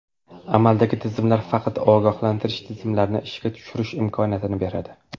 Amaldagi tizimlar faqat ogohlantirish tizimlarini ishga tushirish imkoniyatini beradi.